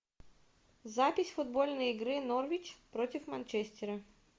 запись футбольной игры норвич против манчестера